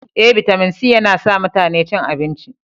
E, bitamin C yana sa mutane cin abinci.